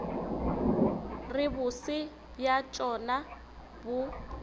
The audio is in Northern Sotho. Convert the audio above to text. re bose bja tšona bo